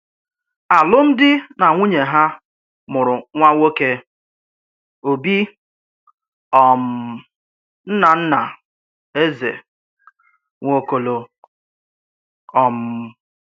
Àlụ́mdí nà nwùnyè hà mụrụ nwá nwòké, Ọ́bì, um nnà-nnà Ézè Nwàòkòlò. um